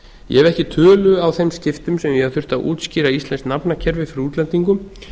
ég hef ekki tölu á þeim skiptum sem ég hef þurft að útskýra íslenskt nafnakerfi fyrir útlendingum